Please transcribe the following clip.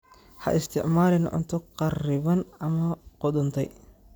Ha isticmaalin cunto kharriban ama qudhuntay.